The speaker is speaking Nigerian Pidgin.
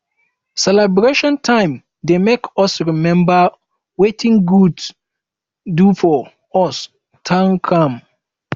celebration time um dey make us remember wetin god do for um us thank am